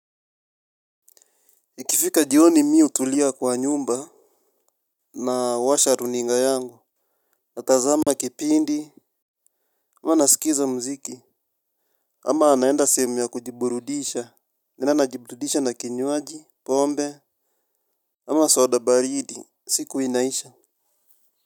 Ikifika jioni mi hutulia kwa nyumba. Na washa runinga yangu. Natazama kipindi. Ama nasikiza mziki. Ama naenda sehemu ya kujiburudisha. Naenda najiburudisha na kinywaji Pombe. Ama soda baridi siku inaisha.